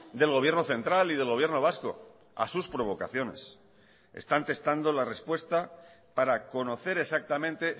del gobierno central y del gobierno vasco a sus provocaciones están testando la respuesta para conocer exactamente